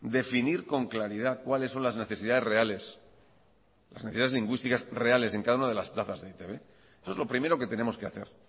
definir con claridad cuáles son las necesidades reales las necesidades lingüísticas reales en cada una de las plazas de e i te be eso es lo primero que tenemos que hacer